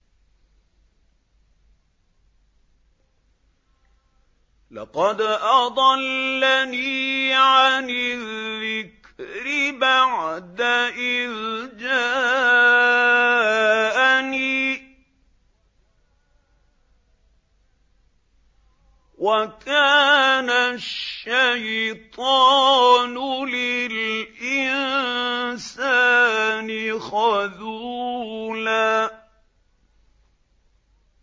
لَّقَدْ أَضَلَّنِي عَنِ الذِّكْرِ بَعْدَ إِذْ جَاءَنِي ۗ وَكَانَ الشَّيْطَانُ لِلْإِنسَانِ خَذُولًا